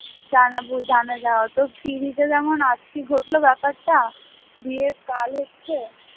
জানাবো জানা যায় অতো TV তে যেমন আজকে ঘটলো ব্যাপারটা বিয়ে কাল হচ্ছে,